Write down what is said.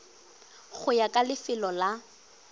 go ya ka lefelo la